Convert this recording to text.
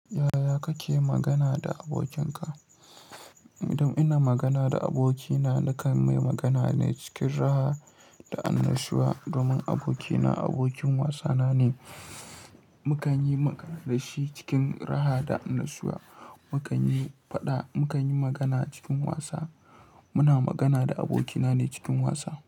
Yaya kake magana da abokinka? Idan ina magana da abokina, nakan mai magana ne cikin raha da annashuwa domin abokina abokin wasana ne. Mu kan yi magana da shi cikin raha da annashuwa. Mu kan yi faɗa, mu kan yi magana cikin wasa. Muna magana da abokina ne cikin wasa.